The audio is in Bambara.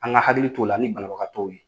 An ŋa hakili t'o la ni banabagatɔw ye.